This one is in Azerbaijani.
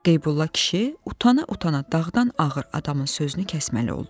Qeybulla kişi utana-utana dağdan ağır adamın sözünü kəsməli oldu.